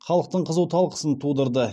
халықтың қызу талқысын тудырды